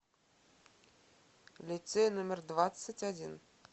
лицей номер двадцать один